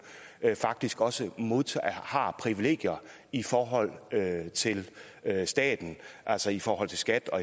faktisk også har privilegier i forhold til staten altså i forhold til skat og